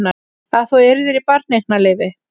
Að þú yrðir í barneignarleyfi.